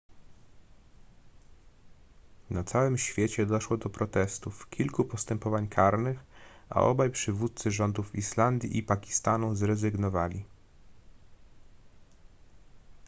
na całym świecie doszło do protestów kilku postępowań karnych a obaj przywódcy rządów islandii i pakistanu zrezygnowali